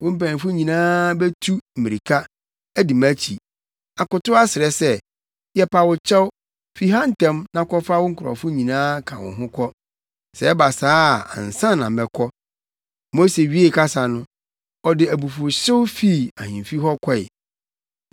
Wo mpanyimfo yi nyinaa betu mmirika, adi mʼakyi, akotow asrɛ sɛ, ‘Yɛpa wo kyɛw, fi ha ntɛm na kɔfa wo nkurɔfo nyinaa ka wo ho kɔ.’ Sɛ ɛba saa a ansa na mɛkɔ!” Mose wiee kasa no, ɔde abufuwhyew fii ahemfi hɔ kɔe.